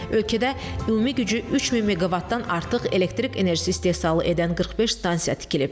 Ölkədə ümumi gücü 3000 meqavatdan artıq elektrik enerjisi istehsalı edən 45 stansiya tikilib.